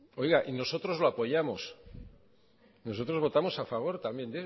oiga y nosotros lo apoyamos nosotros votamos a favor también